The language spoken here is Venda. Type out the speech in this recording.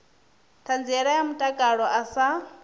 ṱhanziela ya mutakalo a sa